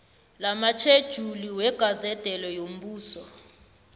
lamatjhejuli wegazede yombuso